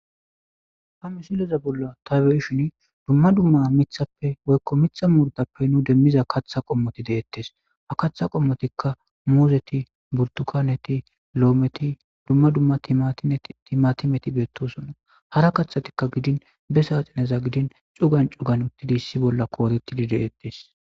ha misileza bolla tabeishin dumma dumma mithappe woykko mixa muurtappe nu demmiza katha qommoti deettes a katha qommotikka muuzeti burtukaneti lo7ometi dumma dumma ttimatimeti beettosonna hara kathatikka gidin be saaxineza gidin cugan cugan uttidi issi bolla koorettidi deettes